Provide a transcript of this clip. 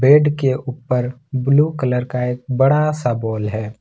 Bed के ऊपर blue colour का एक बड़ा सा बॉल है।